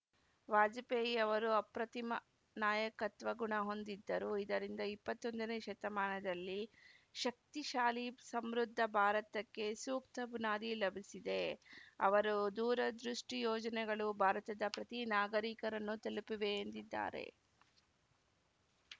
ವಾಜಪೇಯಿ ಅವರು ಅಪ್ರತಿಮ ನಾಯಕತ್ವ ಗುಣ ಹೊಂದಿದ್ದರು ಇದರಿಂದ ಇಪ್ಪತ್ತ್ ಒಂದನೇ ಶತಮಾನದಲ್ಲಿ ಶಕ್ತಿಶಾಲಿ ಸಮೃದ್ಧ ಭಾರತಕ್ಕೆ ಸೂಕ್ತ ಬುನಾದಿ ಲಭಿಸಿದೆ ಅವರ ದೂರದೃಷ್ಟಿಯೋಜನೆಗಳು ಭಾರತದ ಪ್ರತಿ ನಾಗರಿಕನನ್ನೂ ತಲುಪಿವೆ ಎಂದಿದ್ದಾರೆ